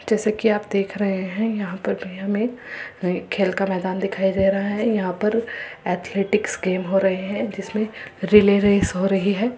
जैसे कि आप देख रहे हैं यहां पर भीड़ में खेल का मैदान दिखाई दे रहा है। यहाँ पर एथलेटिक्स गेम्स हो रहे हैं जिसमे रिले रेस हो रही है।